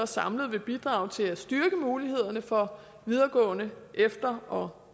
samlet vil bidrage til at styrke mulighederne for videregående efter og